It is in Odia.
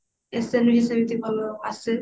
ରେ ବି ସେମିତି ଭଲ ଆସେ